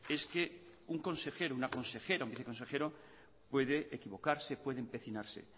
es que un consejero una consejera un viceconsejero puede equivocarse puede empecinarse